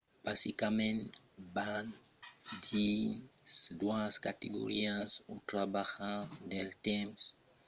basicament van dins doas categorias: o trabalhatz del temps que viatjatz o ensajatz de limitar vòstras despensas. aqueste article se centra sul darrièr cas